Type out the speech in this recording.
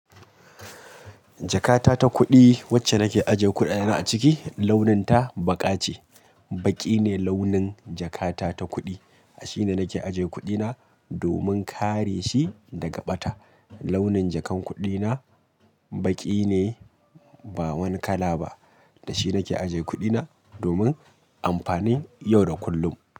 Jakata ta kuɗi wacce nake ajiye kuɗaɗena a ciki launin ta baƙa ce. Baƙi ne launin jakata ta kuɗi ashe nake ajiye kuɗina domin kare shi daga ɓata. Launin jakan kuɗi na baƙi ne ba wani kala ba da shi nake ajiye kuɗi na domin amfanin yau da kullum.